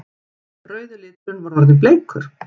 Rauði liturinn var orðinn bleikur!